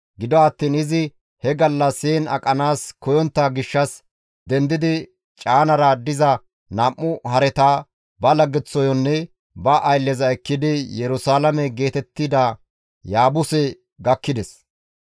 Gido attiin izi he gallas heen aqanaas koyontta gishshas, dendidi caanara diza nam7u hareta, ba laggeththoyonne ba aylleza ekkidi Yerusalaame geetettida Yaabuse gakkides.